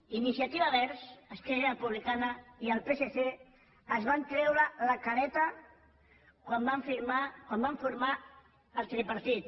iniciativa verds esquerra republicana i el psc es van treure la careta quan van formar el tripartit